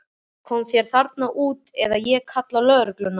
Komdu þér þarna út eða ég kalla á lögregluna.